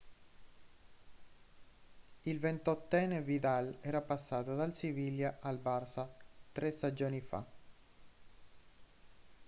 il 28enne vidal era passato dal siviglia al barça tre stagioni fa